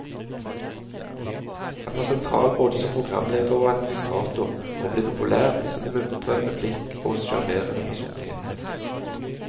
Han var sentral både som programleder og administrator og ble populær med sin muntre replikk og sjarmerende personlighet.